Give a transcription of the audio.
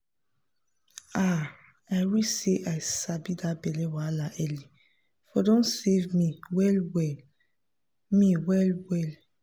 ah i wish say i sabi that belly wahala early for don save me well well me well well